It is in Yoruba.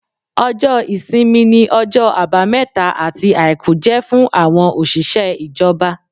Ọjọ́ ìsinmi ni ọjọ́ àbámẹ́ta àti àìkú jẹ́ fún àwọn òṣìṣẹ́ ìjọba